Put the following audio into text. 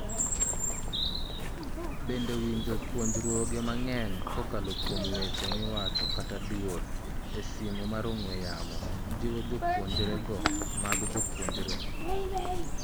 Bende winjo puonjruoge mang'eny kokalo kuom weche miwacho kata duol (IRV) e simo mar ong'e yamonjiwo puonjruoge mag jopuonjre?